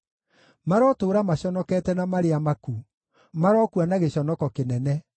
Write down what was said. Marotũũra maconokete na marĩ amaku; marokua na gĩconoko kĩnene.